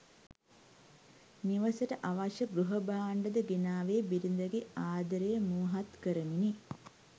නිවසට අවශ්‍ය ගෘහ භාණ්‌ඩද ගෙනාවේ බිරිඳ ගේ ආදරය මුවහත් කරමිනි.